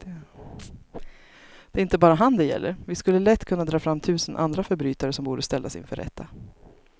Det är inte bara han det gäller, vi skulle lätt kunna dra fram tusen andra förbrytare som borde ställas inför rätta.